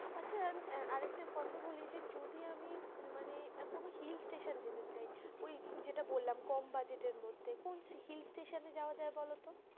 আচ্ছা আহ আর একটা কথা বলি যে যদি আমি মানে কোনো hill স্টেশনে যেতে চায় ওই যেটা বললাম কম বাজেটের মধ্যে কোন hill স্টেশনে যাওয়া যায় বলত?